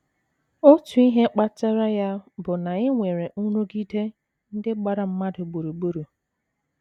Otu ihe kpatara ya bụ na e nwere nrụgide ndị gbara mmadụ gburugburu.